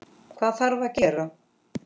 Hvað þarf að gera?